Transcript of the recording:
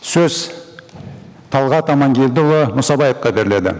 сөз талғат амангелдіұлы мұсабаевқа беріледі